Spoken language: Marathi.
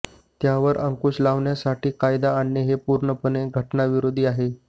त्यावर अंकुश लावण्यासाठी कायदा आणणे हे पूर्णपणे घटनाविरोधी आहे